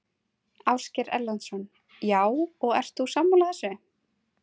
Ásgeir Erlendsson: Já, og ert þú sammála þessu?